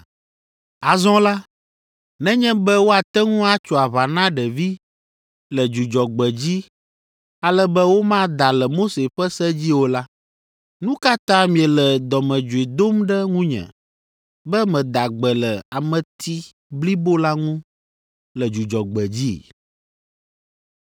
Azɔ la, nenye be woate ŋu atso aʋa na ɖevi le Dzudzɔgbe dzi ale be womada le Mose ƒe se dzi o la, nu ka ta miele dɔmedzoe dom ɖe ŋunye be meda gbe le ameti blibo la ŋu le Dzudzɔgbe dzi?